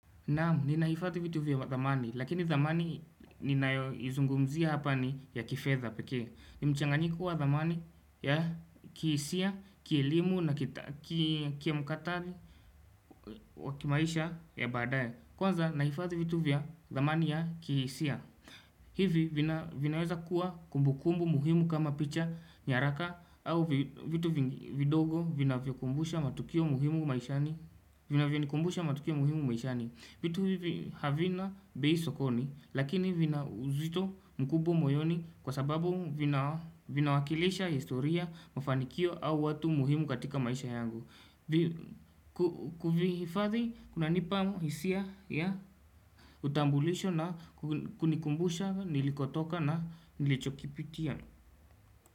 Naam ninahifadhi vitu vya thamani lakini thamani ninayoizungumzia hapa ni ya kifedha pekee ni mchanganyiko wa zamani ya kihisia kielimu na kimkakati wa kimaisha ya badaye kwanza nahifadhi vitu vya zamani ya kihisia hivi vinaweza kuwa kumbukumbu muhimu kama picha nyaraka au vitu vidogo vinavyokumbusha matukio muhimu maishani vinavyonikumbusha matukio muhimu maishani vitu hivi havina bei sokoni lakini vina uzito mkubwa moyoni kwa sababu vinawakilisha historia mafanikio au watu muhimu katika maisha yangu kuvihifadhi kunanipa hisia ya utambulisho na kunikumbusha nilikotoka na nilichokipitia.